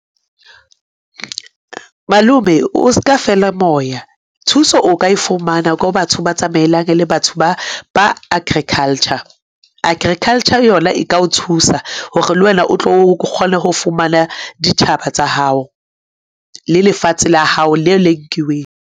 Malome o ska feela moya. Thuso o ka e fumana ko batho ba tsamaelang le batho ba agriculture. Agriculture yona e ka o thusa hore le wena o tlo kgona ho fumana dithaba tsa hao le lefatshe la hao le le nkiweng.